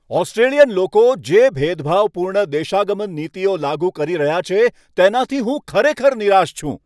Australian લોકો જે ભેદભાવપૂર્ણ દેશાગમન નીતિઓ લાગુ કરી રહ્યા છે તેનાથી હું ખરેખર નિરાશ છું.